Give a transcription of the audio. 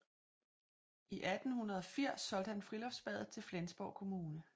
I 1880 solgte han friluftsbadet til Flensborg kommune